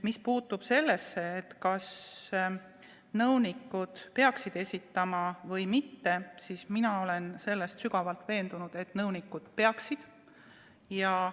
Mis puudutab seda, kas nõunikud peaksid deklaratsiooni esitama või mitte, siis mina olen sügavalt veendunud, et nõunikud peaksid esitama.